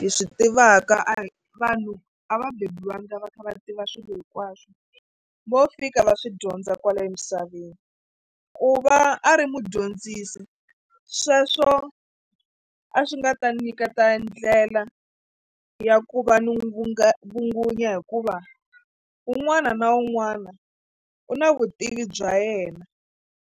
hi swi tivaka a hi vanhu a va beburiwangi va kha va tiva swilo hinkwaswo vo fika va swi dyondza kwala emisaveni ku va a ri mudyondzisi sweswo a swi nga ta ni nyiketa ndlela ya ku va ni n'wi vungunyiwa hikuva un'wana na un'wana u na vutivi bya yena.